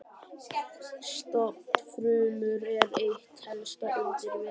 Stofnfrumur eru eitt helsta undur veraldar.